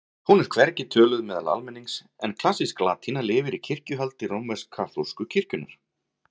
Hún er hvergi töluð meðal almennings en klassísk latína lifir í kirkjuhaldi rómversk-kaþólsku kirkjunnar.